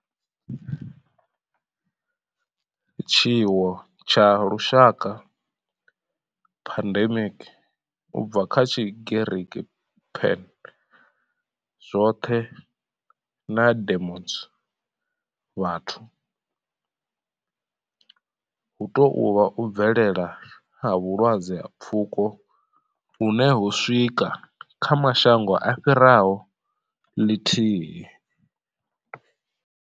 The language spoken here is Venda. Tshiwo tsha lushaka pandemic, u bva kha Tshigiriki pan, zwothe na demos, vhathu hu tou vha u bvelela ha vhulwadze ha pfuko hune ho swika kha mashango a fhiraho ḽithihi.